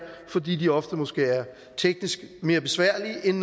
fordi de ofte måske er teknisk mere besværlige end